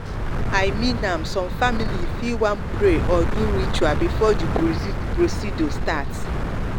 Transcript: i mean am some families fit wan pray or do ritual before the the procedure start.